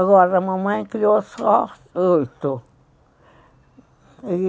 Agora a mamãe criou só oito.